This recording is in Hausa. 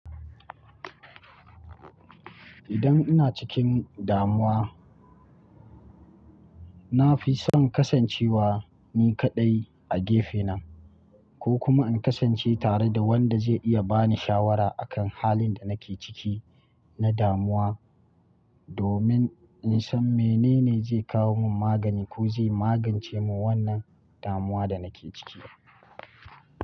Idan ina cikin damuwa, na fi son kasancewa ni kaɗai a gefe na ko kuma in kasance tare da wanda zai iya bani shawara a kan halin da nake ciki na damuwa, domin in san mene ne zai kawo min magani ko zai magance mu wannan damuwa da nake ciki.